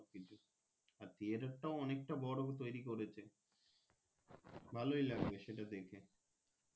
Theatre টাও অনেক বড়ো তৌরি করেছে ভালোই লাগছে সেটা দেখে